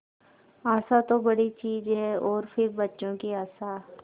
आशा तो बड़ी चीज है और फिर बच्चों की आशा